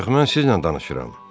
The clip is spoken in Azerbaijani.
Ancaq mən sizinlə danışıram!